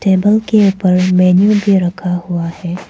Table के ऊपर menu भी रखा हुआ है।